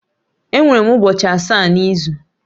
Enwere ụbọchị asaa n'izu